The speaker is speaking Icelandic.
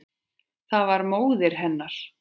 Það var móðir hennar.